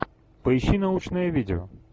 поищи научное видео